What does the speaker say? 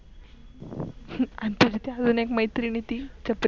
हम्म त्याला ती अजून एक मैत्रीण आहे ती छपरी?